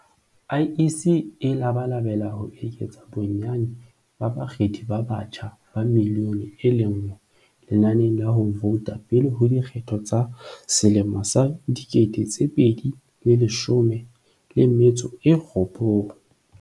IEC e labalabela ho eketsa bonnyane ba bakgethi ba batjha ba milione e le nngwe lenaneng la ho vouta pele ho dikgetho tsa 2019.